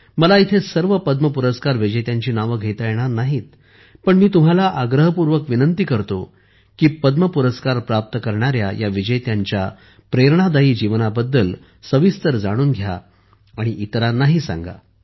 मला इथे सर्व पद्म पुरस्कार विजेत्यांची नावे घेता येणार नाहीत पण मी तुम्हाला आग्रहपूर्वक विनंती करतो की पद्म पुरस्कार प्राप्त करणाऱ्या या विजेत्यांच्या प्रेरणादायी जीवनाबद्दल सविस्तर जाणून घ्या आणि इतरांनाही सांगा